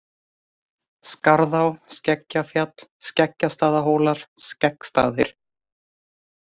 Skarðá, Skeggjafjall, Skeggjastaðahólar, Skeggstaðir